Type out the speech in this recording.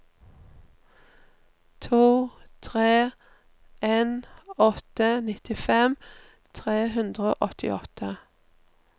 to tre en åtte nittifem tre hundre og åttiåtte